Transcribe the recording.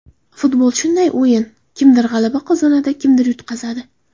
Futbol shunday o‘yin kimdir g‘alaba qozonadi, kimdir yutqazadi.